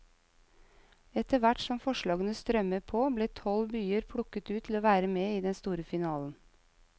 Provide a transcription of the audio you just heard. Etterhvert som forslagene strømmet på ble tolv byer plukket ut til å være med i den store finalen.